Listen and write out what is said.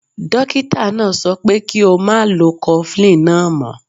Dokita naa so pe ki o ma lo cofflin naa mo.